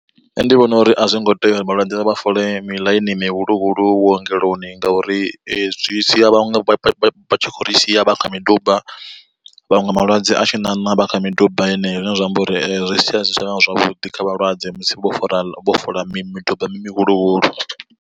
Nṋe ndi vhona uri a zwo ngo tea uri vhalwadze vha fole miḽaini mihuluhulu vhuongeloni ngauri zwi sia vhaṅwe vha tshi khou ri sia vha kha miduba. Vhaṅwe malwadze a tshi ṋaṋa vha kha miduba yeneyo zwine zwa amba uri zwi sia zwi si tshavha zwavhuḓi kha vhalwadze musi vho fara vho foḽa miduba mihuluhulu.